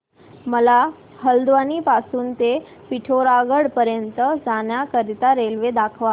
मला हलद्वानी पासून ते पिठोरागढ पर्यंत जाण्या करीता रेल्वे दाखवा